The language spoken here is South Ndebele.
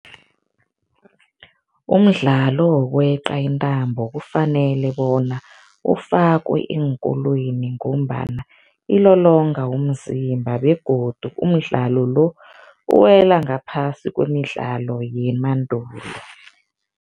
Umdlalo wokweqa intambo kufanele bona ufakwe eenkolweni ngombana ilolonga umzimba begodu umdlalo lo, uwela ngaphasi kwemidlalo yemandulo.